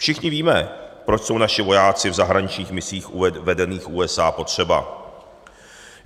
Všichni víme, proč jsou naši vojáci v zahraničních misích vedených USA potřeba.